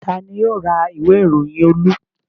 Ta ni yóò ra ìwé-ìròyìn Olú?